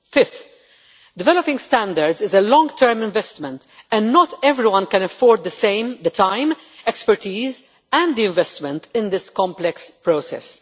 Fifth, developing standards is a long term investment and not everyone can afford the time, expertise and investment in this complex process.